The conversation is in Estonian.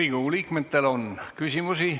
Riigikogu liikmetel on küsimusi.